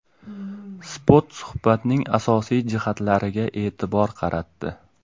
Spot suhbatning asosiy jihatlariga e’tibor qaratdi .